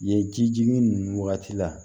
Yen jijigin ninnu wagati la